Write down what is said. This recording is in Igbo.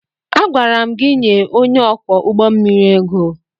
Agwara m gị nye onye ọkwọ ụgbọ mmiri ego!